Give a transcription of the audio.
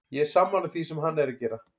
Ég er sammála því sem hann er að gera.